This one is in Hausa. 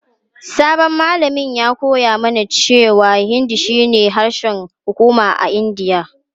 Sabon malamin ya koya mana cewa Hindi shine harshen hukuma a Indiya.